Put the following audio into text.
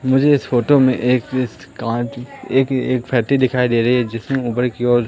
मुझे इस फोटो में एक एक फैटी दिखाई दे रही है जिसमें की ओर--